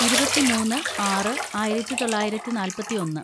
ഇരുപത്തിമൂന്ന് ആറ് ആയിരത്തിതൊള്ളായിരത്തി നാല്‍പത്തിയൊന്ന്‌